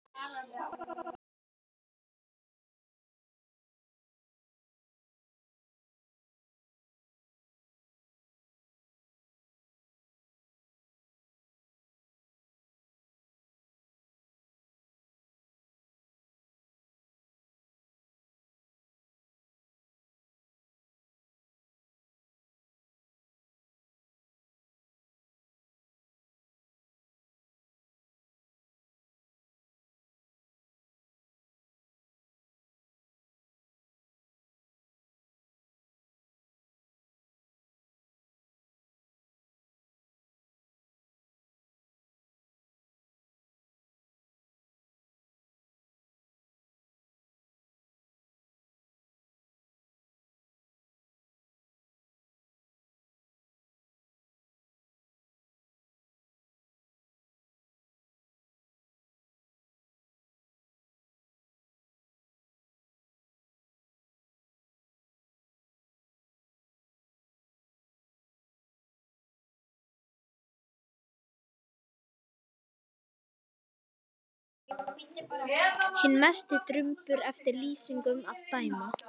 Hinn mesti drumbur eftir lýsingum að dæma.